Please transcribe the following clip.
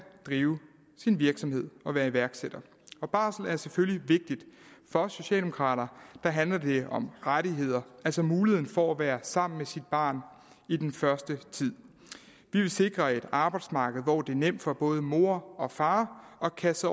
drive sin virksomhed og være iværksætter barsel er selvfølgelig vigtigt for os socialdemokrater handler det om rettigheder altså muligheden for at være sammen med sit barn i den første tid vi vil sikre et arbejdsmarked hvor det er nemt for både mor og far at kaste